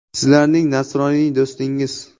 Sizlarning nasroniy do‘stingiz”.